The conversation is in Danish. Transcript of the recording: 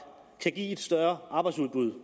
kan give et større arbejdsudbud